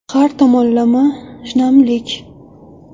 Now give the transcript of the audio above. Har tomonlama shinamlik .